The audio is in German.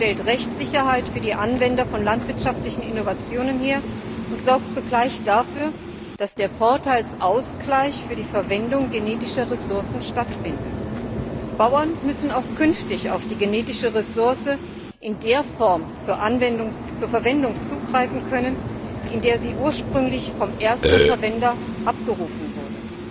Es stellt Rechtssicherheit für die Anwender von landwirtschaftlichen Innovationen her und sorgt zugleich dafür, dass ein Vorteilsausgleich für die Verwendung genetischer Ressourcen stattfindet. Bauern müssen auch künftig auf die genetische Ressource in der Form zur Verwendung zugreifen können, in der sie ursprünglich vom ersten Verwender abgerufen wurde.